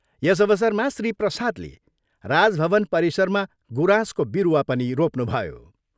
यस अवसरमा श्री प्रसादले राजभवन परिसरमा गुराँसको बिरुवा पनि रोप्नुभयो।